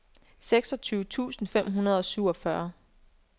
seksogtyve tusind fem hundrede og syvogfyrre